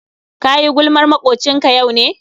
Kayi gulmar makwocinka yau ne?